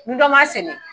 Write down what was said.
Ni dɔ b'a sɛnɛ